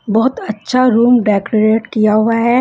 बहोत अच्छा room decorate किया हुआ है।